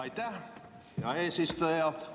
Aitäh, hea eesistuja!